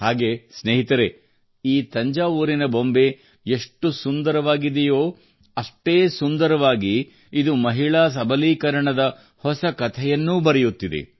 ಹಾಗೇನೇ ಸ್ನೇಹಿತರೇ ಈ ತಂಜಾವೂರಿನ ಬೊಂಬೆ ಎಷ್ಟು ಸುಂದರವಾಗಿದೆಯೋ ಅಷ್ಟೇ ಸುಂದರವಾಗಿ ಇದು ಮಹಿಳಾ ಸಬಲೀಕರಣದ ಹೊಸ ಕಥೆಯನ್ನೂ ಬರೆಯುತ್ತಿದೆ